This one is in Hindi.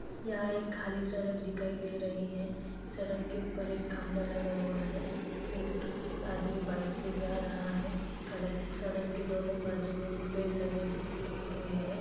यहाँ एक खाली सड़क दिखाई दे रही है। सड़क के ऊपर एक खंभा लगा हुआ है। एक आदमी बाइक से जा रहा है। खड़क-सड़क के दोनों बाजू में पेड़ लगे दे दिए हुए है।